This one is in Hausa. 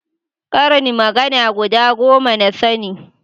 ƙarin magana guda goma na sani